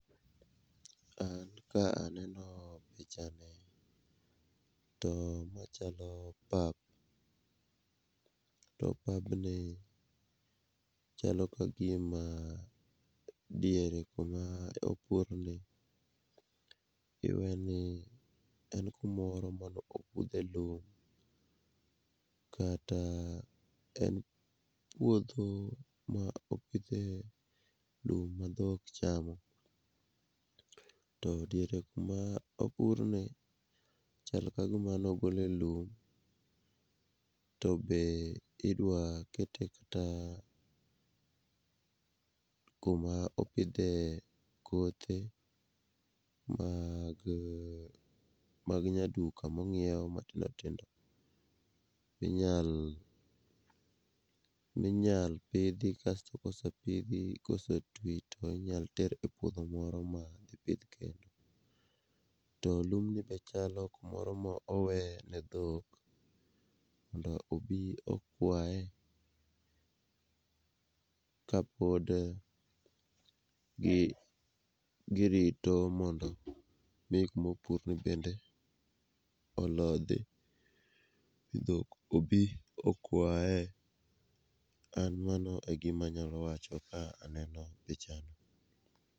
An ka aneno pichani, to machalo pap, to pabni chalo ka gima diere kuma opurni, iweni en kumoro mane opudhe lum, kata en puodho ma opidhe lum ma dhok chamo, to diere kuma opurni, chal ka gima nogole lum, to be idwa kete kata kuma opidhe kothe, mag nyaduka mong'iew matindo tindo, inyalo pidhi kasto kosepidhi ,kosetwi tinyalo ter e puodho moro madhi pidh kendo. To lumni be chalo mumoro moweye ne dhok mondo obi okwaye, kapod girito mondo gik mopurni bende olodhi. Dhok obi okwaye, an mano e gimanyalo wacho ka aneno pichani.